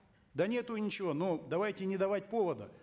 да нету ничего но давайте не давать повода